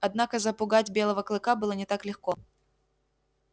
однако запугать белого клыка было не так легко